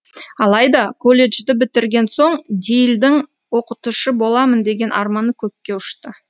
алайда колледжді бітірген соң дейлдің оқытушы боламын деген арманы көкке ұшты